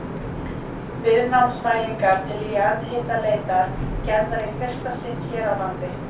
Viðnámsmælingar til jarðhitaleitar gerðar í fyrsta sinn hér á landi.